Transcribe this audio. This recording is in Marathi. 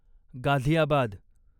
गाझियाबाद